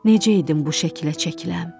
Necə idim bu şəkilə çəkiləm?